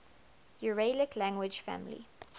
uralic language family